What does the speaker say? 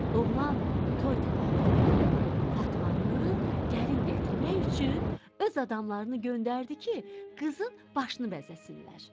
Oğlan toy tədarükü görüb Fatmanı gəlin gətirmək üçün öz adamlarını göndərdi ki, qızın başını bəzəsinlər.